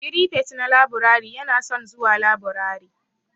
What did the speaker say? Firifet na laburare yana son zuwa laburare.